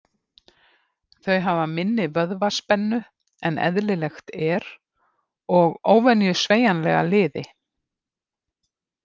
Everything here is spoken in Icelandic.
Þau hafa minni vöðvaspennu en eðlilegt er og óvenju sveigjanlega liði.